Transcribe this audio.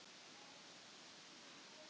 Og hér kviknaði eitt ljós af öðru